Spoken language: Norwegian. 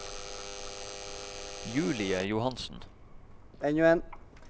Julie Johansen